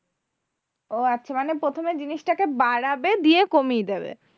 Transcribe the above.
ও আচ্ছা মানে প্রথমে জিনিসটাকে বাড়াবে দিয়ে কমিয়ে দেবে,